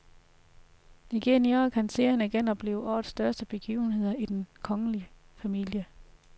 Igen i år kan seerne genopleve årets største begivenheder i den kongelige familie.